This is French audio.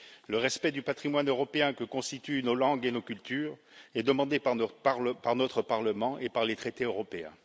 Le respect du patrimoine européen que constituent nos langues et nos cultures est demandé par notre Parlement et par les traités européens.